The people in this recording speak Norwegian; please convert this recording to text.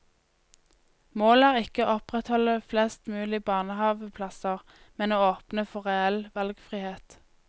Målet er ikke å opprettholde flest mulig barnehaveplasser, men å åpne for reell valgfrihet.